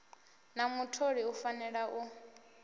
na mutholi u fanela u